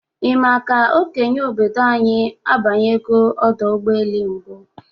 Ị ma ka okenye obodo anyi abanyego ọdọ ụgbọelu mbụ?